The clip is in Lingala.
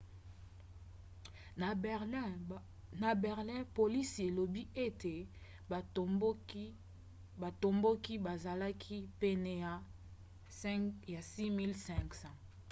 na berlin polisi elobi ete batomboki bazalaki pene ya 6 500